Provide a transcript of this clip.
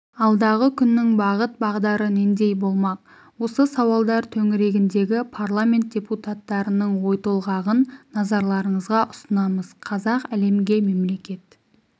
алдағы күннің бағыт-бағдары нендей болмақ осы сауалдар төңірегіндегі парламент депутаттарының ойтолғағын назарларыңызға ұсынамыз қазақ әлемге мемлекет